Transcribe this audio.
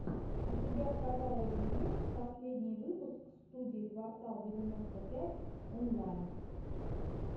у тебя в каталоге есть последний выпуск студии квартал девяносто пять онлайн